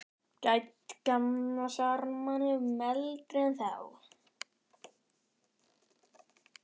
Gædd gamla sjarmanum, eldri en þá.